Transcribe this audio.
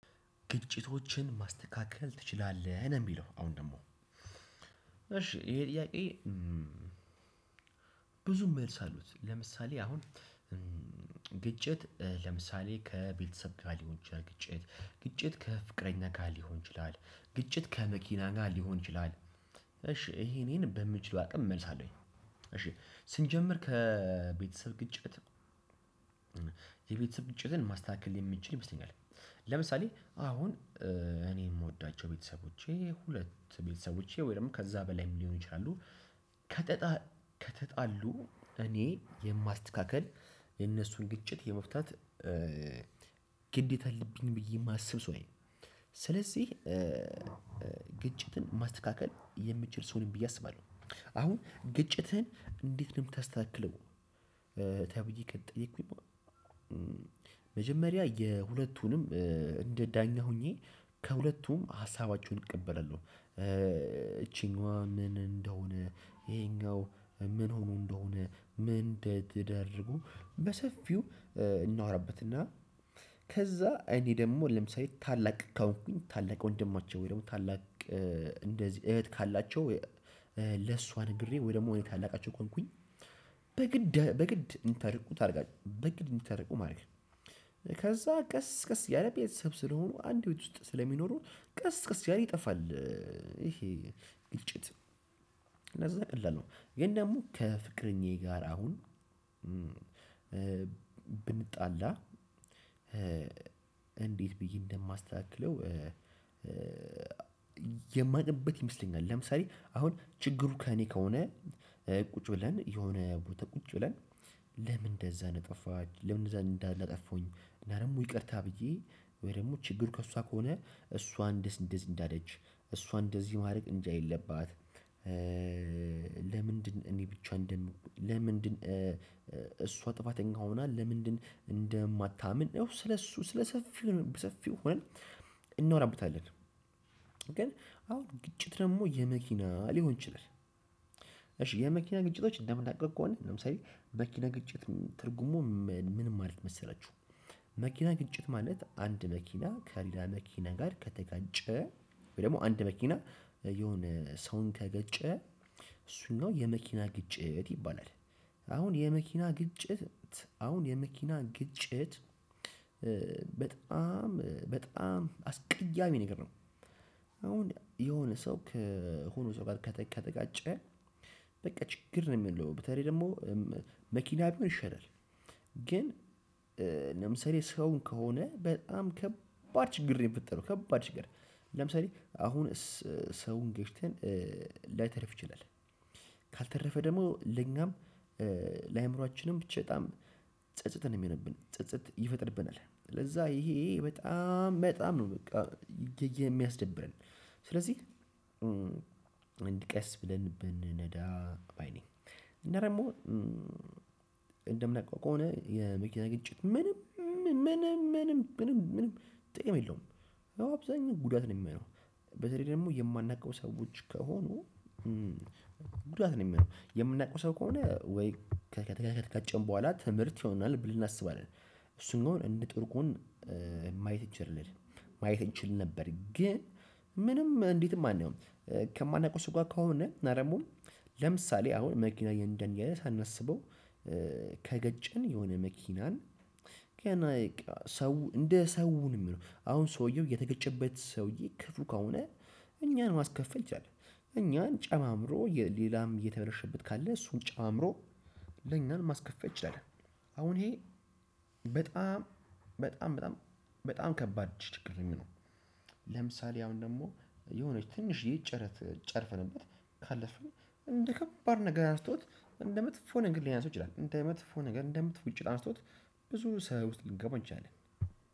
ግጭቶችን ማስተካከል ትችላለህ ነው የሚለው አሁን ደግሞ። እሺ ይሄ ጥያቄ? ብዙ መልስ አሉት። ለምሳሌ አሁን ግጭት ለምሳሌ ከቤተሰብ ጋር ሊሆን ይችላል ግጭት፣ ግጭት ከፍቅረኛ ጋር ሊሆን ይችላል፣ ግጭት ከመኪና ጋር ሊሆን ይችላል፣ እሺ ይሄ እኔን በምችለው አቅም እመልሳለሁኝ። እሺ ስንጀምር ከቤተሰብ ግጭት የቤተሰብ ግጭትን ማስተካከል የሚችል ይመስለኛል። ለምሳሌ አሁን እኔ የምወዳቸው ቤተሰቦቼ ሁለት ቤተሰቦቼ ወይ ደግሞ ከዛ በላይ ሊሆን ይችላሉ፣ ከተጣሉ እኔ የማስተካክል፣ የነሱን ግጭት የመፍታት ግዴታ አልብኝ ብዬ የማስብ ሰው ነው። ስለዚህ ግጭትን ማስተካከል የምችል ሰው ነኝ ብዬ አስባለሁ። አሁን ግጭትህን እንዴት ነው የምታስተካክለው? ተብዬ ከተጠየኩኝ መጀመሪያ የሁለቱንም እንደ ዳኛ ሆኜ ከሁለቱም ሀሳባችሁን እቀበላለሁ። እቺኛዋ ምን እንደሆነ ይሄኛው ምን ሆኖ እንደሆነ ምን እንደተዳረጉ በሰፊው እናወራበትና። ከዛ እኔ ደግሞ ለምሳሌ ታላቅ ከሆንኩኝ ታላቅ ወንድማቸው ወይ ደግሞ ታላቅ እንደዚህ እህት ካላቸው ለሷ ነግሬ ወይ ደግሞ እኔ ታላቃቸው ከሆንኩኝ በግድ በግድ እንዲታረቁ ታደርጋለህ በግድ እንተረቁ ማለት ነው። ከዛ ቀስ ቀስ ያለ ቤተሰብ ስለሆኑ አንድ ሁለት ውስጥ ስለሚኖረው ቀስ ቀስ ያለ ይጠፋል። ይሄ ግጭት እነዛ ቀላል ነው። ግን ደግሞ ከፍቅረኛዬ ጋር አሁን ብንጣላ እንዴት ብዬ እንደማስተካክለው። የማቅበት ይመስለኛል ለምሳሌ አሁን ችግሩ ከእኔ ከሆነ ቁጭ ብለን የሆነ ቦታ ቁጭ ብለን። ለምን እንደዛ ነጠፋች ለምን እንደዛ እንዳጠፉች እና ደግሞ ይቅርታ ብዬ ወይ ደግሞ ችግር ከእሷ ከሆነ እሷ እንደዚህ እንደዚህ እንደዚህ ማድረግ እንደ የለባት። ለምንድን እኔ ብቻ እንደን ለምንድን እሷ ጥፋተኛ ሆና ለምንድን እንደማታምን ያው ስለእሱ ስለሱ ስለ ሰፊው ሰፊው ሆነን እናወራብታለን። ግን አሁን ግጭት ደግሞ የመኪና ሊሆን ይችላል። እሺ የመኪና ግጭቶች እንደምናውቀው ከሆነ ለምሳሌ መኪና ግጭት ትርጉሙ ምን ማለት መሰላችሁ? መኪና ግጭት ማለት አንድ መኪና ከሌላ መኪና ጋር ከተጋጨ ወይ ደግሞ አንድ መኪና የሆነ ሰውን ከገጨ እሱን ነው የመኪና ግጭት ይባላል። አሁን የመኪና ግጭት አሁን የመኪና ግጭት በጣም በጣም አስቀያሚ ነገር ነው። አሁን የሆነ ሰው ከሆነ ሰው ጋር ከተቀጠቀጠ በቃ ችግር ነው የሚለው በተለይ ደግሞ መኪና ቢሆን ይሻላል። ግን ለምሳሌ ሰውን ከሆነ በጣም ከባድ ችግር ነው የምትለው ከባድ ችግር ለምሳሌ አሁን ሰውን ገጭተን ላይተርፍ ይችላል። ካልተረፈ ደግሞ ለኛም ለአእምሮአችንም ብቻ በጣም ጸጸት ነው የሚሆነብን ጸጸት ይፈጥርብናል ስለዛ ይሄ በጣም በጣም ነው። በቃ የሚያስደብረን። ስለዚህ አንድ ቀስ ብለን ብንነዳ ባይ ነኝ እና ደግሞ እንደምነቃው ከሆነ የመኪና ግጭት ምንም ምንም ምንም ምንም ምንም ጥቅም የለውም። አብዛኛው ጉዳት ነው የሚሆነው በተለይ ደግሞ የማናውቀው ሰዎች ከሆኑ። ጉዳት ነው የሚሆነው የምናውቀው ሰው ከሆነ ወይ ከቀጨን በኋላ ትምህርት ይሆናል ብል እናስባለን። እሱን እንደውም እንደ ጥሩ ጎን ማየት እንችል ማየት እንችል ነበር ግን ምንም እንዴትም አናየውም። ከማናውቀው ሰው ጋር ከሆነ አደውም ለምሳሌ አሁን መኪና እየነዳን እያለ ሳናስበው ከገጨን የሆነ መኪናን ሰው እንደ ሰው ነው የምለው አሁን ሰውየው የተገጨበት ሰውዬ ክፉ ከሆነ እኛን ማስከፈል ይችላል። እኛን ጨማምሮ ሌላም እየተበረሸበት ካለ እሱን ጨምሮ ለኛም ማስከፈል ይችላል። አሁን ይሄ በጣም በጣም በጣም ከባድ ችግር ነው የሚለው። ለምሳሌ አሁን ደግሞ የሆነች ትንሽ ይህ ጨረት ጨርፈንበት ካለ ሰው እንደ ከባድ ነገር አንስቶት እንደ መጥፎ ነገር ሊያነሳው ይችላል እንደ መጥፎ ነገር እንደ ውጪ ጫርቶት ብዙ ሰው ውስጥ ልንገባ እንችላለን።